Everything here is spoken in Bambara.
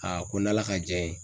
Aa ko n' ala ka jɛn ye